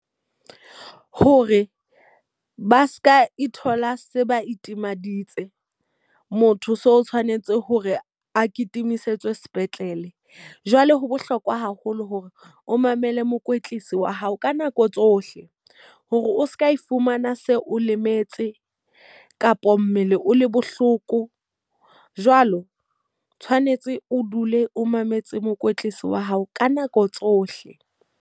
Hore ba seka ithola se ba itimaditse, motho so tshwanetse hore a kitima disetswe sepetlele. Jwale ho bohlokwa haholo hore o mamele mokwetlisi wa hao ka nako tsohle. Hore o seka e fumana se o lemetse kapo mmele o le bohloko. Jwalo, tshwanetse o dule o mametse mokwetlisi wa hao ka nako tsohle.